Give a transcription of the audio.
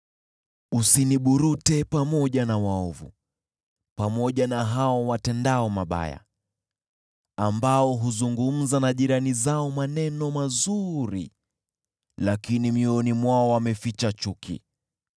Usiniburute pamoja na waovu, pamoja na hao watendao mabaya, ambao huzungumza na jirani zao maneno mazuri, lakini mioyoni mwao wameficha chuki.